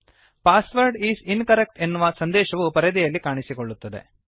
password is incorrect ಎನ್ನುವು ಸಂದೇಶವು ಪರದೆಯಲ್ಲಿ ಕಾಣಿಸುತ್ತದೆ